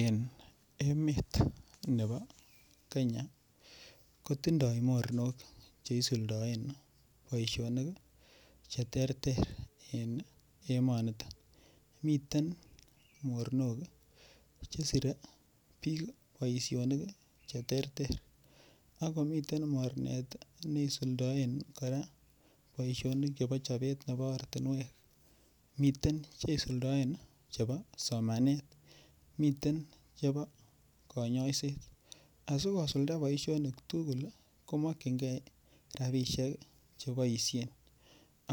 En emet nebo Kenya kotindoi mornok cheisuldaen boishonik che terter eng emoniton miten mornok chesire biik boishonik cheterter akomiten mornet neisuldoen kora boishonik nebo chobet nebo ortinwek miten cheisuldaen chebo somanet miten chebo konyoiset asikosulda boishonik tukul komokchingei rapishek cheboishen